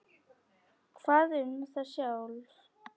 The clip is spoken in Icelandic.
Hvað um þá sjálfa?